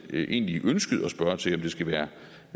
i virkeligheden ønskede at spørge til om det skal være